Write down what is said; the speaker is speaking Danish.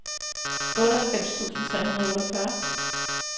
otteoghalvfems tusind tre hundrede og otteogfyrre